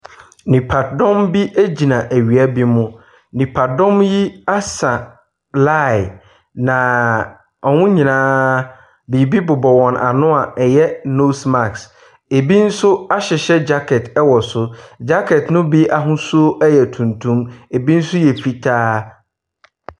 Nnipadɔm bi gyina awia bi mu. Nnipadɔm yi asa line na wɔn nyinaa biribi bobɔ wɔn ano a ɛyɛ nose mask, ɛbi nso ahyehyɛ jacket wɔ so. Jacket ne bi ahosu ɛyɛ tuntum, ɛbi nso yɛ fitaa.